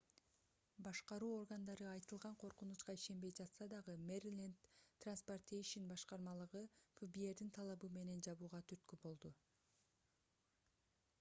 башкаруу органдары айтылган коркунучка ишенбей жатса дагы мериленд транспортейшен башкармалыгы фбрдин талабы менен жабууга түрткү болду